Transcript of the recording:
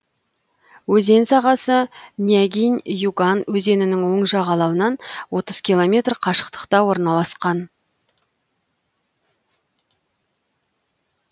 өзен сағасы нягинь юган өзенінің оң жағалауынан отыз километр қашықтықта орналасқан